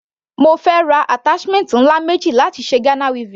Mo fẹ́ ra attachment ńlá méjì láti ṣe Ghana weaving.